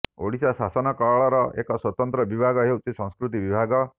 ଓଡ଼ିଶା ଶାସନ କଳର ଏକ ସ୍ୱତନ୍ତ୍ର ବିଭାଗ ହେଉଛି ସଂସ୍କୃତି ବିଭାଗ